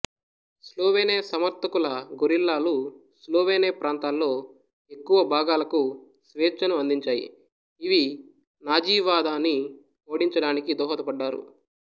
Slovene సమర్థకుల గొరిల్లాలు Slovene ప్రాంతాల్లో ఎక్కువ భాగాలకు స్వేచ్ఛను అందించాయి ఇవి నాజీవాదాన్ని ఓడించడానికి దోహదపడ్డారు